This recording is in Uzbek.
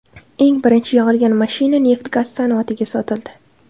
Eng birinchi yig‘ilgan mashina neft-gaz sanoatiga sotildi.